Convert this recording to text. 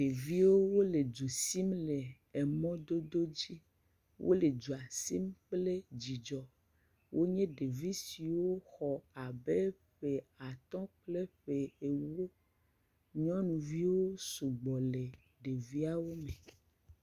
Ɖeviwo wole du sim le emɔdodo dzi. Wole dua sim kple dzidzɔ. Wonye ɖevi siwo xɔ abe ƒe atɔ̃ kple ƒe enyi. Nyɔnuviawo sugbɔ le ɖeviawo me.